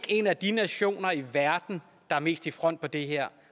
en af de nationer i verden der er mest i front med det her